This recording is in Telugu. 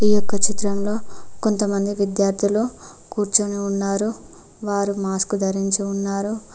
ఈ యొక్క చిత్రంలో కొంతమంది విద్యార్థులు కూర్చొని ఉన్నారు వారు మాస్కు ధరించి ఉన్నారు.